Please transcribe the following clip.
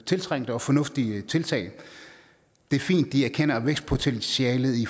tiltrængte og fornuftige tiltag det er fint at de erkender vækstpotentialet i